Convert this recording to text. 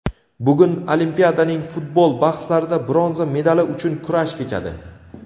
Bugun Olimpiadaning futbol bahslarida bronza medali uchun kurash kechadi!.